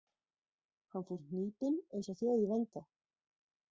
Hann fór hnípinn, einsog þjóð í vanda.